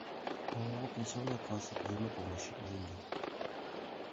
ооо пенсионная касса взаимопомощи деньги